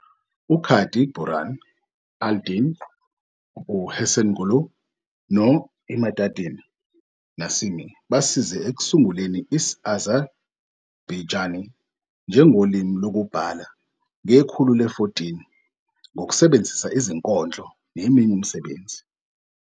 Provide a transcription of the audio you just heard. U-Kadi Burhan al-Din, u-Hesenoghlu, no- Imadaddin Nasimi basize ekusunguleni isi-Azerbaiijani njengolimi lokubhala ngekhulu le-14 ngokusebenzisa izinkondlo neminye imisebenzi.